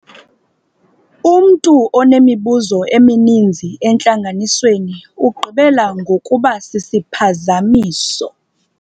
Umntu onemibuzo emininzi entlanganisweni ugqibela ngokuba sisiphazamiso.